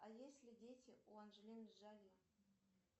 а есть ли дети у анджелины джоли